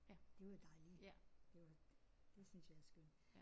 Det var dejligt. Det var det synes jeg er skønt